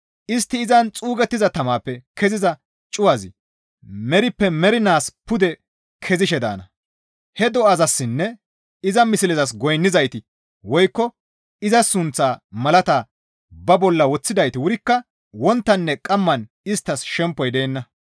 Istti izan xuugettiza tamaappe keziza cuwazi merippe mernaas pude kezishe daana; he do7azassinne iza mislezas goynnizayti woykko iza sunththaa malata ba bolla woththidayti wurikka wonttaninne qamman isttas shempoy deenna.»